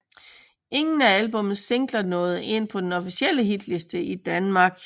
Ingen af albummets singler nåede ind på den officielle hitliste i Danmark